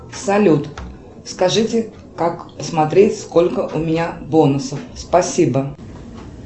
салют скажите как смотреть сколько у меня бонусов спасибо